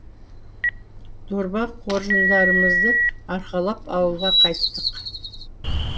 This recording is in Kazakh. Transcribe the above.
дорба қоржындарымызды арқалап ауылға қайттық